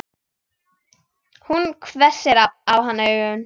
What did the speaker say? Hún hvessir á hann augun.